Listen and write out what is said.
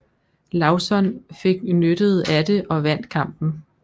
Lauzon fik nyttet af det og vandt kampen